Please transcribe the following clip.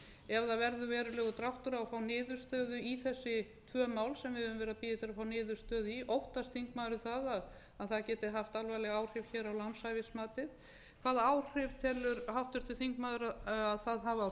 ef það verður verulegur dráttur á að fá niðurstöðu í þessi tvö mál sem við höfum verið að bíða eftir að fá niðurstöðu í óttast þingmaðurinn að það geti haft alvarleg áhrif hér á lánshæfismatið hvaða áhrif telur háttvirtur þingmaður að það hafi á